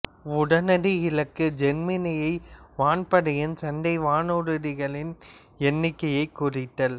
உடனடி இலக்கு ஜெர்மானிய வான்படையின் சண்டை வானூர்திகளின் எண்ணிக்கையைக் குறைத்தல்